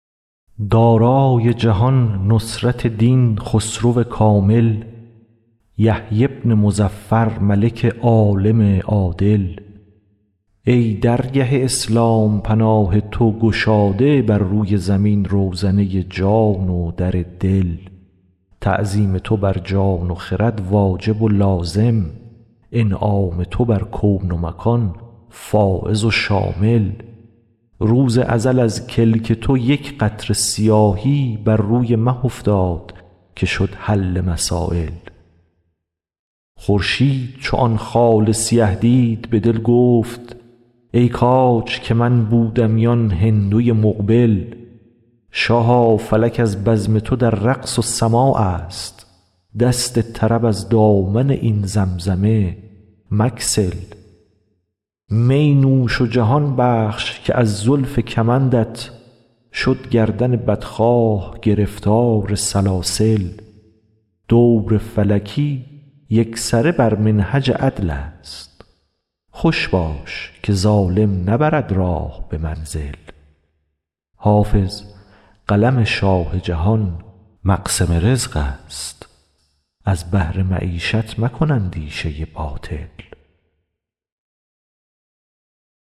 دارای جهان نصرت دین خسرو کامل یحیی بن مظفر ملک عالم عادل ای درگه اسلام پناه تو گشاده بر روی زمین روزنه جان و در دل تعظیم تو بر جان و خرد واجب و لازم انعام تو بر کون و مکان فایض و شامل روز ازل از کلک تو یک قطره سیاهی بر روی مه افتاد که شد حل مسایل خورشید چو آن خال سیه دید به دل گفت ای کاج که من بودمی آن هندوی مقبل شاها فلک از بزم تو در رقص و سماع است دست طرب از دامن این زمزمه مگسل می نوش و جهان بخش که از زلف کمندت شد گردن بدخواه گرفتار سلاسل دور فلکی یکسره بر منهج عدل است خوش باش که ظالم نبرد راه به منزل حافظ قلم شاه جهان مقسم رزق است از بهر معیشت مکن اندیشه باطل